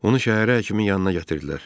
Onu şəhərə həkimin yanına gətirdilər.